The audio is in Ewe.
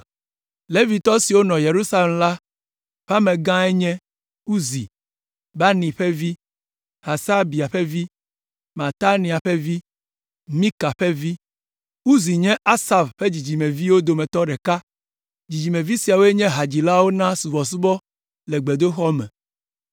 Levitɔ siwo nɔ Yerusalem la ƒe amegãe nye Uzi, Bani ƒe vi, Hasabia ƒe vi, Matania ƒe vi, Mika ƒe vi. Uzi nye Asaf ƒe dzidzimeviwo dometɔ ɖeka. Dzidzimevi siawoe nye hadzilawo na subɔsubɔ le gbedoxɔ me.